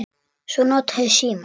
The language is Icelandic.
Svo nota ég símann.